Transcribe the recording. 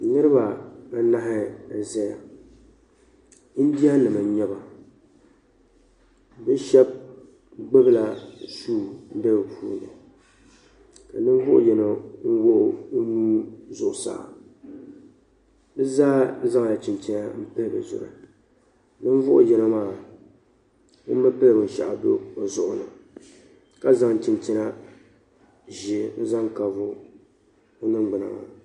Niriba anahi n zaya indiya nima n nyɛba bɛ sheba gbibi la sua be bɛ puuni ka ninvuɣu yino wuɣi o nuu zuɣusaa bɛ zaa zaŋla chinchina m pili bɛ zuɣu ninvuɣu yin. maa ŋun bi pili binshaɣu o zuɣu ni ka zaŋ chinchina ʒee n zaŋ kaavi o niŋgbina maa